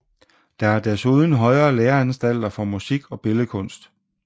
Der er desuden højere læreanstalter for musik og billedkunst